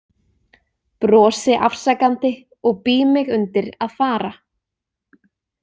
Brosi afsakandi og bý mig undir að fara.